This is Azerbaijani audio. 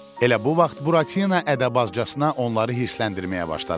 Elə bu vaxt Buratino ədəbazcasına onları hirsləndirməyə başladı.